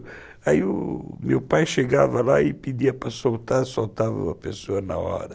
Aí o meu pai chegava lá e pedia para soltar, soltava uma pessoa na hora.